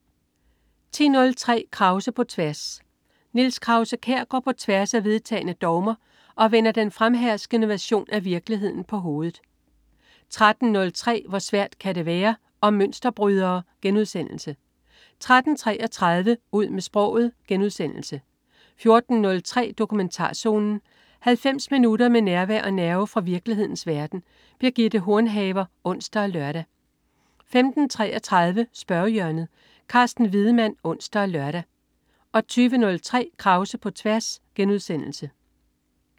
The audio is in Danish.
10.03 Krause på tværs. Niels Krause-Kjær går på tværs af vedtagne dogmer og vender den fremherskende version af virkeligheden på hovedet 13.03 Hvor svært kan det være. Om mønsterbrydere* 13.33 Ud med sproget* 14.03 Dokumentarzonen. 90 minutter med nærvær og nerve fra virkelighedens verden. Birgitte Hornhaver (ons og lør) 15.33 Spørgehjørnet. Carsten Wiedemann (ons og lør) 20.03 Krause på tværs*